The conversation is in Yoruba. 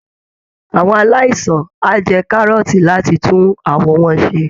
Àwọn aláìsàn á jẹ kárọ́ọ̀tì láti tún àwọ̀ wọn ṣe